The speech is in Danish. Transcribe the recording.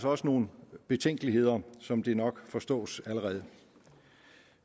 også nogle betænkeligheder som det nok forstås allerede